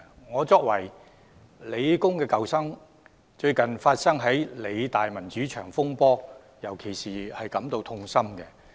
我作為香港理工大學的舊生，對於該大學最近發生的民主牆風波尤感痛心。